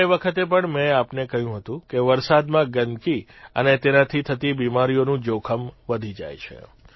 ગયે વખતે પણ મે આપને કહ્યું હતું કે વરસાદમાં ગંદકી અને તેનાથી થતી બીમારીઓનું જોખમ વધી જાય છે